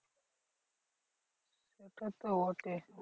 তা তো বটেই।